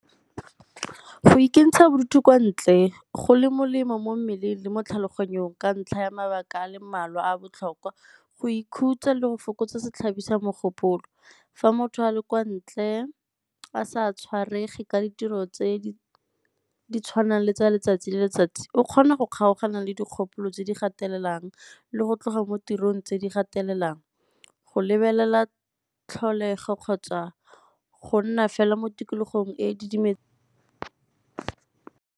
Go ikentsha bodutu kwa ntle go le molemo mo mmeleng le mo tlhaloganyong ka ntlha ya mabaka a le mmalwa a a botlhokwa. Go ikhutsa le go fokotsa setlhabi sa mogopolo, fa motho a le kwa ntle a sa tshwarege ka ditiro tse di tshwanang le tsa letsatsi le letsatsi o kgona go kgaogana le dikgopolo tse di gatelelang le go tloga mo tirong tse di gatelelang, go lebelela tlholego kgotsa go nna fela mo tikologong e e .